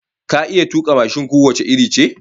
Ka iya tuka mashin ko wace iri ce?